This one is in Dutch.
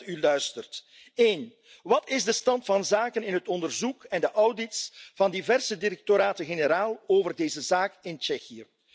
Ik hoop dat u luistert. Eén, wat is de stand van zaken in het onderzoek en de audits van diverse directoraten generaal over deze zaak in Tsjechië?